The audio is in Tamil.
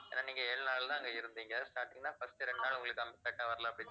ஏன்னா நீங்க ஏழு நாள் தான் அங்க இருந்தீங்க starting ல first இரண்டு நாள் உங்களுக்கு அங்க